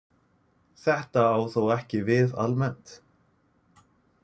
Þetta á þó ekki við almennt.